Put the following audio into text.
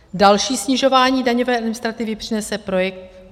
Další snižování daňové administrativy přinese projekt